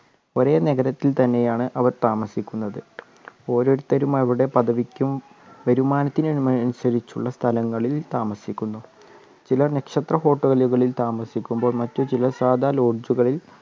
ഒരെ നഗരത്തിൽ തന്നെയാണ് അവർ താമസിക്കുന്നത് ഓരോരുത്തരും അവരുടെ പദവിക്കും വരുമാനത്തിനു മനുസരിച്ചുള്ള സ്ഥലങ്ങളിൽ താമസിക്കുന്നു ചിലർ നക്ഷത്ര hotel ലുകളിൽ താമസിക്കുമ്പോൾ മറ്റുചിലർ സാധാ lodge കളിൽ